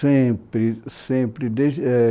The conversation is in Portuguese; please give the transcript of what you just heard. Sempre, sempre. Desde é